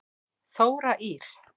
Þóra Ýr.